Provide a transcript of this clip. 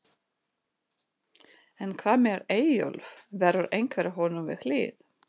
En hvað með Eyjólf, verður einhver honum við hlið?